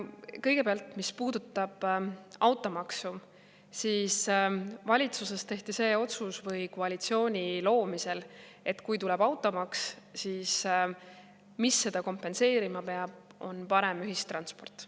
Kõigepealt, mis puudutab automaksu, siis valitsuses või koalitsiooni loomisel tehti see otsus, et kui tuleb automaks, siis seda peab kompenseerima parem ühistransport.